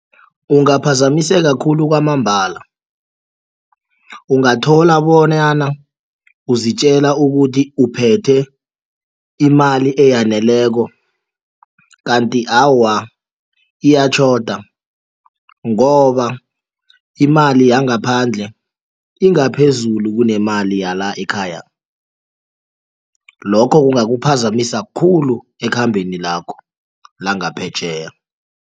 Kungaphazamiseka khulu kwamambala ungathola bonyana uzitjela ukuthi uphethe imali eyaneleko kanti awa iyatjhoda ngoba imali yangaphandle ingaphezulu kunemali yala ekhaya, lokho kungakuphazamisa khulu ekhambeni lakho langaphetjheya.